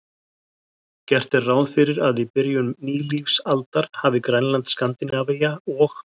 Gert er ráð fyrir að í byrjun nýlífsaldar hafi Grænland, Skandinavía og